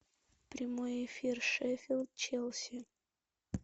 прямой эфир шеффилд челси